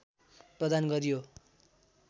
प्रदान गरियो